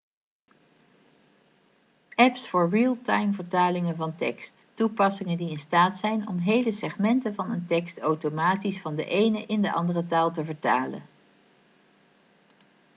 apps voor realtimevertalingen van tekst toepassingen die in staat zijn om hele segmenten van een tekst automatisch van de ene in de andere taal te vertalen